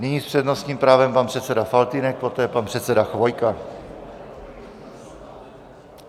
Nyní s přednostním právem pan předseda Faltýnek, poté pan předseda Chvojka.